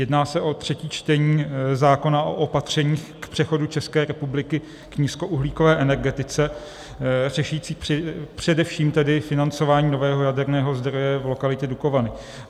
Jedná se o třetí čtení zákona o opatřeních k přechodu České republiky k nízkouhlíkové energetice řešící především tedy financování nového jaderného zdroje v lokalitě Dukovany.